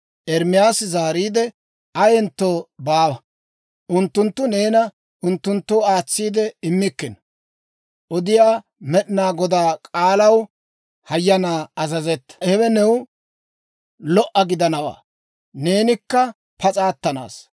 Ermaasi zaariide, «Ayentto baawa! Unttunttu neena unttunttoo aatsiide immikkino. Odiyaa Med'inaa Godaa k'aalaw hayyanaa azazetta. Hewe new lo"o gidanawaa; neenikka pas'a attanaassa.